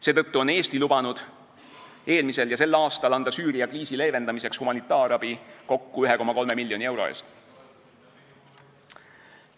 Seetõttu on Eesti eelmisel ja sel aastal lubanud anda Süüria kriisi leevendamiseks humanitaarabi kokku 1,3 miljoni euro eest.